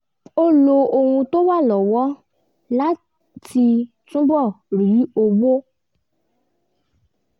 ó lo ohun tó wà lọ́wọ́ láti túbọ̀ rí owó